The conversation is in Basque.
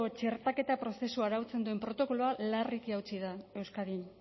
txertaketa prozesu arautzen duen protokoloa larriki hautsi da euskadin